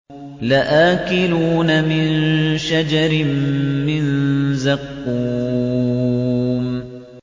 لَآكِلُونَ مِن شَجَرٍ مِّن زَقُّومٍ